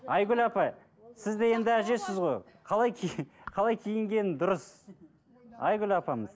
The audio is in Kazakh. айгүл апай сіз де енді әжесіз ғой қалай қалай киінген дұрыс айгүл апамыз